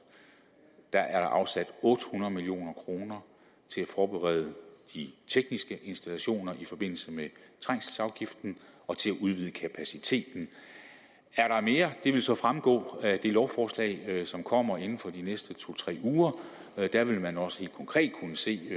er afsat otte hundrede million kroner til at forberede de tekniske installationer i forbindelse med trængselsafgiften og til at udvide kapaciteten er der mere vil det så fremgå af det lovforslag som kommer inden for de næste to tre uger der vil man også helt konkret kunne se